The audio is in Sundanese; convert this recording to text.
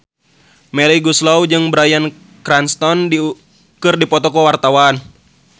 Melly Goeslaw jeung Bryan Cranston keur dipoto ku wartawan